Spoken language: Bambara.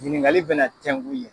Ɲiningali bɛna tɛnku yen